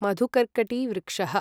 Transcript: मधुकर्कटिवृक्षः